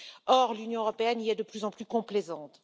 Or, l'Union européenne est de plus en plus complaisante.